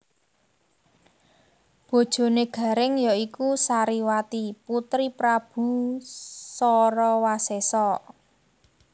Bojoné Garèng ya iku Sariwati putri Prabu Sarawasésa